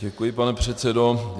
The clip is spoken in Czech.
Děkuji, pane předsedo.